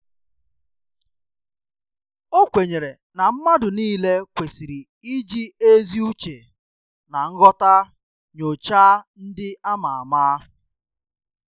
Ọ kwenyere ná mmadụ niile kwesịrị iji ezi uche ná nghọta nyochaa ndị a ma ama